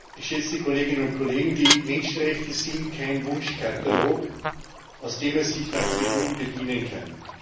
Geschätzte Kolleginnen und Kollegen! Die Menschenrechte sind kein Wunschkatalog, aus dem man sich nach Belieben bedienen kann.